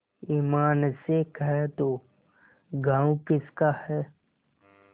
ईमान से कह दो गॉँव किसका है